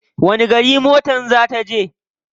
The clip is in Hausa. Wani gari motar ta za je?